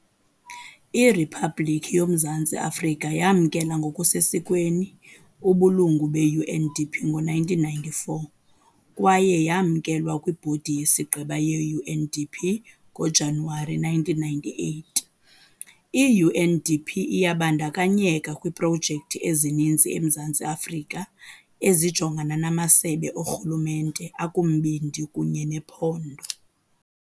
Iriphabliki yoMzantsi Afrika yamkela ngokusesikweni ubulungu be-UNDP ngo-1994 kwaye yamkelwa kwibhodi yesigqeba ye-UNDP ngoJanuwari 1998. I-UNDP iyabandakanyeka kwiiprojekthi ezininzi eMzantsi Afrika ezijongana namasebe oorhulumente akumbindi kunye nephondo.